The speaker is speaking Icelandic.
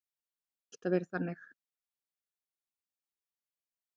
Það hefur alltaf verið þannig.